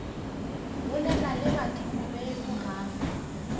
bolela le badimo beno gape